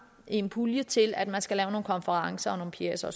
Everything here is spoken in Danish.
i en pulje til at man skal lave nogle konferencer og nogle pjecer og